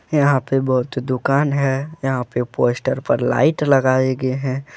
यहा पे दुकान है यहा पे पोस्टर पर लाइट लगाई गए है।